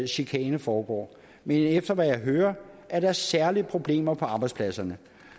chikane foregår men efter hvad jeg hører er der særligt problemer på arbejdspladserne